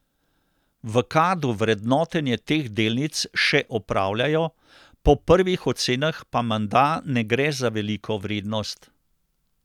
V Kadu vrednotenje teh delnic še opravljajo, po prvih ocenah pa menda ne gre za veliko vrednost.